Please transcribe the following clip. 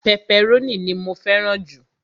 pẹpẹrónì ni mó fẹràn ju